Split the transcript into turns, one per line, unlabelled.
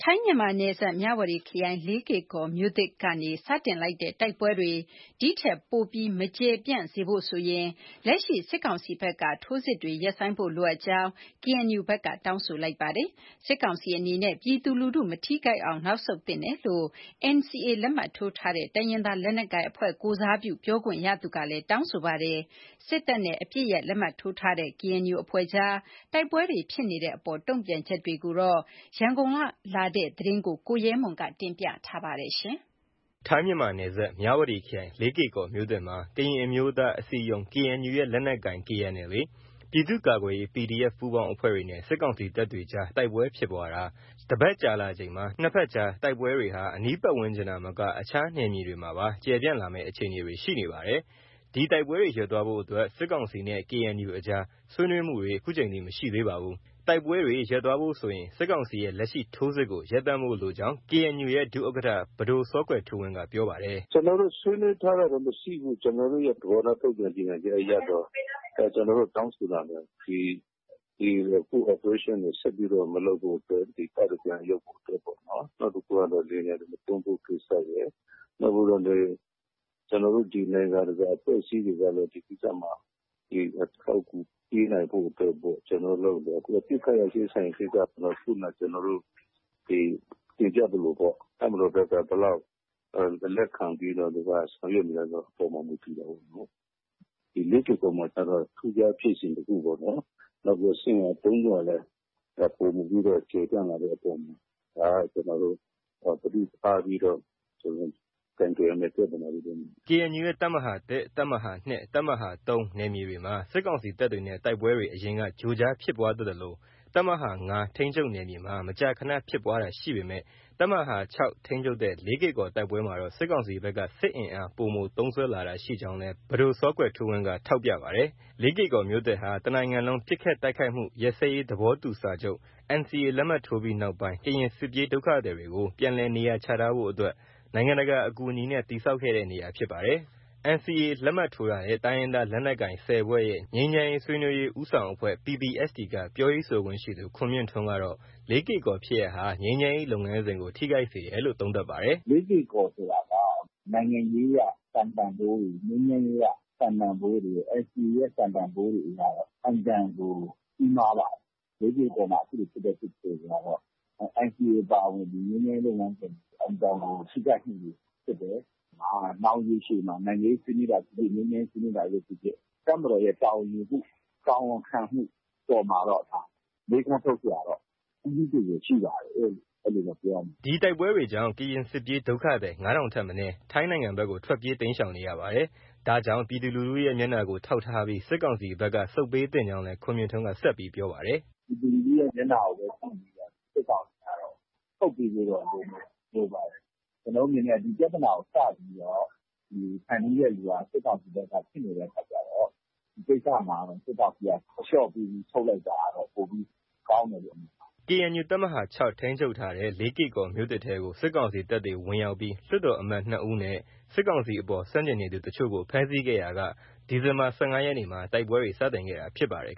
ထိုင်းမြန်မာနယ်စပ် မြဝတီခရိုင် လေးကေကော်မြို့သစ်ကနေ စတင်လိုက်တဲ့ တိုက်ပွဲတွေ ဒီထက် ပိုမို မကျယ်ပြန်စေဖို့ဆိုရင် လက်ရှိ စစ်ကောင်စီဘက်က ထိုးစစ်တွေ ရပ်ဆိုင်းဖို့ လိုအပ်ကြောင်း KNU ဘက်က တောင်းဆိုလိုက်ပါတယ်။ စစ်ကောင်စီအနေနဲ့ ပြည်သူလူထု မထိခိုက်အောင် နောက်ဆုတ်သင့်တယ်လို့ NCA လက်မှတ်ထိုးထားတဲ့ တိုင်းရင်းသားလက်နက်ကိုင်အဖွဲ့ကိုယ်စားပြု ပြောခွင့်ရသူကလည်း တောင်းဆိုပါတယ်။ စစ်တပ်နဲ့ အပစ်ရပ်လက်မှတ်ထိုးထားတဲ့ KNU အဖွဲ့ကြား တိုက်ပွဲတွေဖြစ်နေတဲ့အပေါ် တုံ့ပြန်ချက်တွေအကြောင်း ရန်ကုန်ကလာတဲ့ သတင်းကို ကိုရဲမွန် က တင်ပြထားပါတယ်။
ထိုင်းမြန်မာနယ်စပ် မြဝတီခရိုင် လေးကေကော်မြို့သစ်မှာ ကရင်အမျိုးသား အစည်းအရုံး KNU ရဲ့လက်နက်ကိုင် KNLA၊ ပြည်သူ့ကာကွယ်ရေး PDF ပူးပေါင်းအဖွဲ့တွေနဲ့ စစ်ကောင်စီတပ်တွေကြား တိုက်ပွဲဖြစ်ပွားတာ ရက်သတ္တ တစ်ပတ်ကြာလာချိန်မှာ ၂ ဘက်ကြား တိုက်ပွဲတွေဟာ အနီးပတ်ဝန်းကျင်သာမက အခြားနယ်မြေတွေမှာပါ ကျယ်ပြန့်လာမယ့် အခြေအနေတွေ ရှိနေပါတယ်။ ဒီတိုက်ပွဲတွေ ရပ်သွားဖို့အတွက် စစ်ကောင်စီနဲ့ KNU အကြား ဆွေးနွေးမှုတွေ ခုချိန်ထိ မရှိသေးပါဘူး။ တိုက်ပွဲတွေ ရပ်သွားဖို့ ဆိုရင် စစ်ကောင်စီရဲ့ လက်ရှိ ထိုးစစ်ကို ရပ်တန့်ဖို့ လိုအပ်ကြောင်း KNU ရဲ့ ဒုဥက္ကဌ ပဒိုစောကွယ်ထူးဝင်းက ပြောပါတယ်။
“ ကျနော်တို့ ဆွေးနွေးထားတာတော့ မရှိဘူး။ ကျနော်တို့ရဲ့ သဘောထား ထုတ်ပြန်ကြေညာချက်အရတော့ ကျနော်တို့ တောင်းဆိုတာက၊ ဒီ အခု Operation ကို ဆက်ပြီး မလုပ်ဖို့အတွက် တပ်တွေ ပြန်ရုတ်ဖို့ ပေါ့နော်။ နောက်တစ်ခုကတော့ လေယာဉ်ပျံတွေ မသုံးဖို့ ကိစ္စရယ်။ နောက်ပြီးတော့လည်း ဒီနိုင်ငံတကာအဖွဲ့အစည်းတွေကလည်း ဒီကိစ္စမှာ အထောက်အကူပေးနိုင်ဖို့လည်း ကျနော်တို့ လုပ်နေတယ်။ အပစ်အခတ် ရပ်စဲရေးဆိုင်ရာကိစ္စကတော့ ခုနက ကျနော်တို့ တင်ပြသလိုပေ့ါ။ တပ်မတော်ဘက်က ဘယ်လောက် လက်ခံပြီးတော့ ဆောင်ရွက်မလဲဆိုတာပေါ်မှာ မူတည်တာပေါ့နော်။” KNU ရဲ့
တပ်မဟာ ၁၊ တပ်မဟာ ၂၊ တပ်မဟာ ၃ နယ်မြေတွေမှာ စစ်ကောင်စီတပ်တွေနဲ့ တိုက်ပွဲတွေ အရင်က ကြိုးကြားဖြစ်ပွားတတ်သလို၊ တပ်မဟာ ၅ ထိန်းချုပ်နယ်မြေမှာ မကြာခန ဖြစ်ပွားတာရှိပေမဲ့၊ တပ်မဟာ ၆ ထိန်းချုပ်တဲ့ လေးကေကော်တိုက်ပွဲမှာတော့ စစ်ကောင်စီဘက်က စစ်အင်အား ပိုမိုသုံးစွဲလာတာရှိကြောင်းလည်း ပဒိုကွယ်ထူးဝင်းက ထောက်ပြပါတယ်။ လေးကေကော်မြို့သစ်ဟာ တစ်နိုင်ငံလုံး ပစ်ခတ်တိုက်ခိုက်မှုရပ်စဲရေးသဘောတူစာချုပ် NCA လက်မှတ်ထိုးပြီးနောက်ပိုင်း ကရင်စစ်ပြေးဒုက္ခသည်တွေကို ပြန်လည်နေရချထားဖို့အတွက် နိုင်ငံတကာအကူအညီနဲ့ တည်ဆောက်ခဲ့တဲ့နေရာဖြစ်ပါတယ်။ NCA လက်မှတ်ထိုးထားတဲ့ တိုင်းရင်းသားလက်နက်ကိုင် ၁၀ ဖွဲ့ရဲ့ ငြိမ်းချမ်းရေး ဆွေးနွေးရေးဦးဆောင်အဖွဲ့ PPSTက ပြောရေးဆိုခွင့်ရှိသူ ခွန်မြင့်ထွန်းကတော့ လေးကေကော်ဖြစ်ရပ်ဟာ ငြိမ်းချမ်းရေးလုပ်ငန်းစဉ်ကို ထိခိုက်စေတယ်လို့ သုံးသပ်ပါတယ်။ “ လေးကေကော်ဆိုတာ
နိုင်ငံရေးအရ စံတန်ဖိုးတွေ၊ ငြိမ်းချမ်းရေးအရ စံတန်ဖိုးတွေ၊ NCA ရဲ့ စံတန်ဖိုးတွေအရတော့ အင်မတန်ကို ကြီးမားပါတယ်။ လေးကေကော်မှာ အခုလို ဖြစ်တဲ့ ဖြစ်စဉ်တွေကတော့ NCA အပါအဝင် ငြိမ်းချမ်းရေးလုပ်ငန်းစဉ်ကို အတော်ကို ထိခိုက်မှုတွေဖြစ်တယ်။ နောင်ရေရှည်မှာ နိုင်ငံရေးဆွေးနွေးတာဖြစ်ဖြစ်၊ ငြိမ်းချမ်းရေးဆွေးနွေးတာဖြစ်ဖြစ် တပ်မတော်ရဲ့ တာဝန်ယူမှု၊ တာဝန်ခံမှု အပေါ်မှာတော့ ဒါ မေးခွန်းထုတ်စရာတော့ ကြီးကြီးကျယ်ကျယ် ရှိပါတယ်လို့ အဲလိုပဲ ပြောရမှာပါ
။” ဒီတိုက်ပွဲတွေကြောင့် ကရင်စစ်ပြေးဒုက္ခသည် ၅ ထောင်ထက်မနည်း ထိုင်းနိုင်ငံဘက်ကို ထွက်ပြေး တိမ်းရှောင်နေကြရပါတယ်။ ဒါကြောင့် ပြည်သူလူထုရဲ့ မျက်နှာကို ထောက်ထားပြီး စစ်ကောင်စီဘက် ဆုတ်ပေးသင့်ကြောင်းလည်း ခွန်မြင့်ထွန်းက ပြောပါတယ်။ “ ပ
ြည်သူလူထုရဲ့ မျက်နှာကို ကြည့်ပြီးတော့ စစ်ကောင်စီကတော့ ဆုတ်ပေးဖို့တော့ လိုပါတယ်။ ကျနော်တို့ အနေနဲ့က ဒီပြဿနာကို စပြီးတော့ ဖန်တီးတဲ့သူက စစ်ကောင်စီဖြစ်နေတဲ့ အခါကျတော့ ဒီကိစ္စမှာ စစ်ကောင်စီက အလျော့ပေးပြီး ဆုတ်လိုက်တာကတော့ ပိုပြီး ကောင်းတယ်လို့ မြင်ပါ
တယ်။ ” KNU တပ်မဟာ (၆) ထိန်းချုပ်ထားတဲ့ လေးကေ့ကော်မြို့သစ်ထဲကို စစ်ကောင်စီတပ်တွေ ဝင်ရောက်ပြီး လွှတ်တော်အမတ်၂ ဦးနဲ့ စစ်ကောင်စီအပေါ် ဆန့်ကျင်နေသူတချို့ကိုဖမ်းဆီးခဲ့ရာက ဒီဇင်ဘာ ၁၅ ရက်မှာ တိုက်ပွဲတွေ စတင်ခဲ့တာ ဖြစ်ပါတယ်